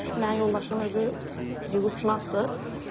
Mənim yoldaşım özü hüquqşünasdır.